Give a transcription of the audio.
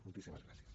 moltíssimes gràcies